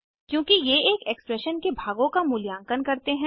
क्योंकि ये एक एक्सप्रेशन के भागों का मूल्यांकन करते हैं